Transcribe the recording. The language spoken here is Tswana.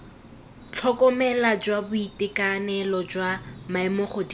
tlhokomelo jwa boitekanelo jwa maemogodimo